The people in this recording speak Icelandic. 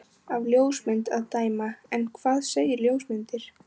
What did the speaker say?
Af ljósmynd að dæma. en hvað segja ljósmyndir?